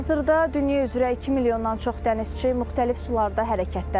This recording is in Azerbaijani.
Hazırda dünya üzrə 2 milyondan çox dənizçi müxtəlif sularda hərəkətdədir.